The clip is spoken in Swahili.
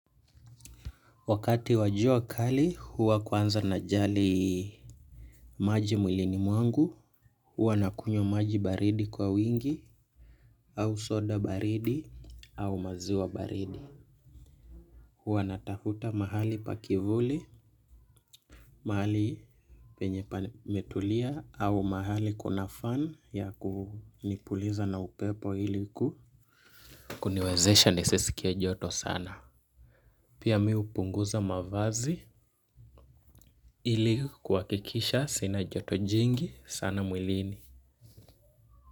Wakati wa jua kali huwa kwanza najali maji mwilini mwangu, huwa nakunywa maji baridi kwa wingi au soda baridi au maziwa baridi. Huwa natafuta mahali pa kivuli, mahali penye pametulia au mahali kuna fan ya kunipuliza na upepo ilikuniwezesha nisisikie joto sana. Pia mimi hupunguza mavazi ili kuhakikisha sina joto jingi sana mwilini.